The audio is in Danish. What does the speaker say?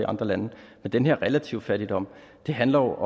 andre lande men den her relative fattigdom handler